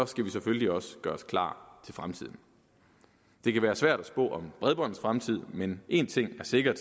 skal vi selvfølgelig også gøre os klar til fremtiden det kan være svært at spå om bredbåndets fremtid men en ting er sikker og